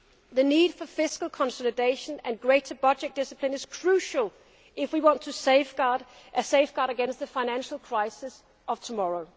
was to ensure a more responsible Europe. The need for fiscal consolidation and greater budget discipline is crucial if we want to safeguard